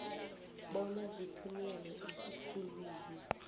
bona zithunyelwe esikhulwini